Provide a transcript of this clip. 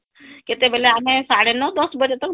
କେତେବେଲେ ଆମେ ସାଡେ ନଅ ଦଶ ବଜେ ତକ